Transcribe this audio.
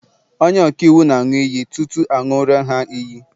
onye-ọka-iwu nāṅu iyi tutu aṅuri ha iyi